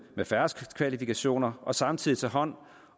har færrest kvalifikationer og samtidig tage hånd